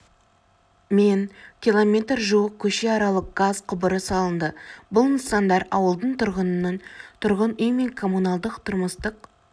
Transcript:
мен км жуық көшеаралық газ құбыры салынды бұл нысандар ауылдың тұрғынын тұрғын үй мен коммуналдық-тұрмыстық